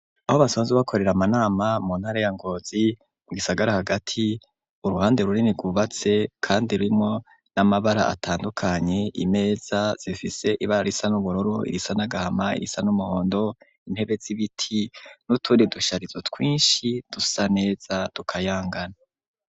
Aho basanze bakorera amanama mu ntara ya Ngozi mugisagara hagati uruhande runini rwubatse kandi rurimwo n'amabara atandukanye imeza zifise ibara risa n'uburoro irisa nagahama irisa n'umuhondo intebe z'ibiti n'uturi dushyarizo twinshi dusa neza dukayangana.